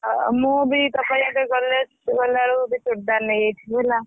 ହଉ ମୁଁ ବି ତୋପାଇଁ ଗଲେ ଗଲାବେଳକୁ ଗୋଟେ ଚୁଡିଦାର ନେଇଯାଇଥିବି ହେଲା।